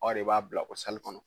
Aw de b'a bila o kɔnɔ